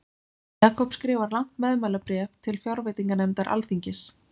Jakob skrifar langt meðmælabréf til fjárveitinganefndar alþingis.